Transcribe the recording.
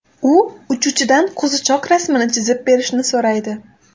U uchuvchidan qo‘zichoq rasmini chizib berishni so‘raydi.